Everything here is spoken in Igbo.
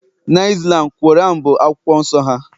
na Islam, Quran bụ akwụkwọ nsọ ha